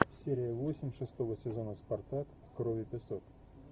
серия восемь шестого сезона спартак кровь и песок